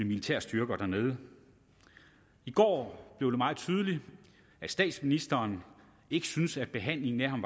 militære styrker dernede i går blev det meget tydeligt at statsministeren ikke synes at behandlingen af ham